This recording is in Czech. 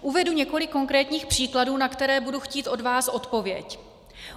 Uvedu několik konkrétních příkladů, na které budu chtít od vás odpověď.